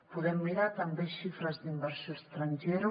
podem mirar també xifres d’inversió estrangera